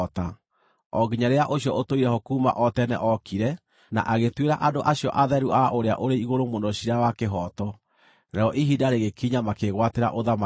o nginya rĩrĩa Ũcio-Ũtũire-ho-kuuma-o-Tene ookire na agĩtuĩra andũ acio atheru a Ũrĩa-ũrĩ-Igũrũ-Mũno ciira wa kĩhooto, narĩo ihinda rĩgĩkinya makĩĩgwatĩra ũthamaki.